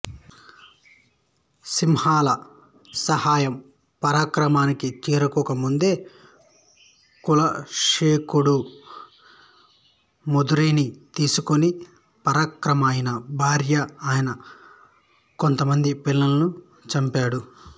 సింహళ సహాయం పరాక్రమానికి చేరుకోకముందే కులశేఖకుడు మదురైని తీసుకొని పరకరమ ఆయన భార్య ఆయన కొంతమంది పిల్లలను చంపాడు